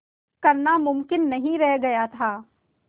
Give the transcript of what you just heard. करना मुमकिन नहीं रह गया था